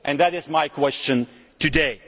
That is my question today.